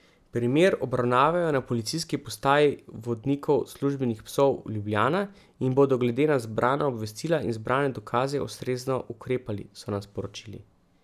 Primer obravnavajo na policijski postaji vodnikov službenih psov Ljubljana in bodo glede na zbrana obvestila in zbrane dokaze ustrezno ukrepali, so nam sporočili.